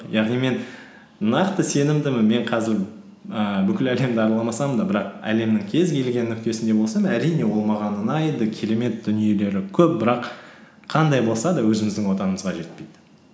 яғни мен нақты сенімдімін мен қазір ііі бүкіл әлемді араламасам да бірақ әлемнің кез келген нүктесінде болсам әрине ол маған ұнайды керемет дүниелері көп бірақ қандай болса да өзіміздің отанымызға жетпейді